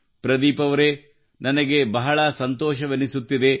ಪ್ರದೀಪ್ ಅವರೆ ನನಗೆ ಬಹಳ ಸಂತೋಷವೆನಿಸುತ್ತಿದೆ